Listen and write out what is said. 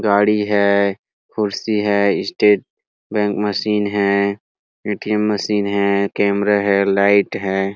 गाड़ी है कुर्सी है स्टेट बैंक मशीन है एटीएम मशीन है कैमरा है लाइट है।